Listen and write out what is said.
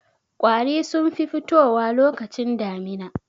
Ƙwari sun fi fitowa lokacin damina.